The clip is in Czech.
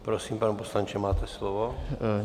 Prosím, pane poslanče, máte slovo.